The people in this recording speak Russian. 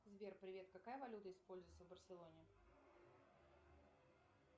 сбер привет какая валюта используется в барселоне